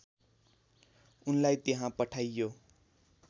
उनलाई त्यहाँ पठाइयो